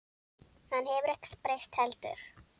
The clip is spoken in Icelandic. Hann hefur ekkert breyst heldur.